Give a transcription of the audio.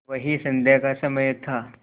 वही संध्या का समय था